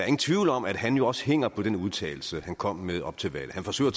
ingen tvivl om at han jo også hænger på den udtalelse han kom med op til valget han forsøger